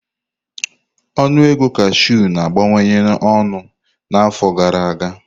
Ọnụ ego cashew na-abawanye ọnụ n'afọ gara aga.